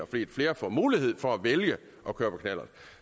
fordi flere får mulighed for at vælge at køre på knallert